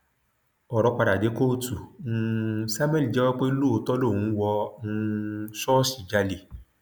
ọrọ padà dé kóòtù um samuel jẹwọ pé lóòótọ lòun wọ um ṣọọṣì jálẹ